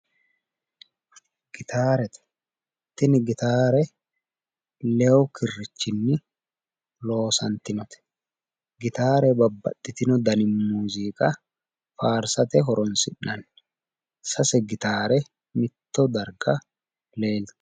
Gitaarete. Tini gitaare lewu kirrichinni loosantinote gitaare babbaxitino dani muuziiqa faarsate horonsi'nanni. Sase gitaare mitto darga leeltanno.